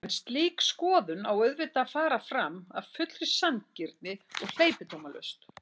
En slík skoðun á auðvitað að fara fram af fullri sanngirni og hleypidómalaust.